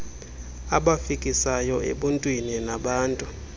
abafikisayo ebuntwini nabantu